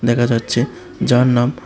দেখা যাচ্ছে যার নাম --